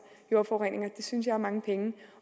jordforurening det synes jeg er mange penge og